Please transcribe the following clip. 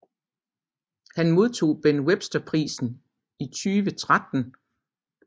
Han modtog Ben Webster Prisen i 2013